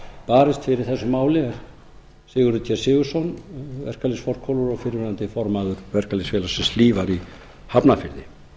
barist fyrir þessu máli er sigurður g sigurðsson verkalýðsforkólfur og fyrrverandi formaður verkalýðsfélagsins hlífar í hafnarfirði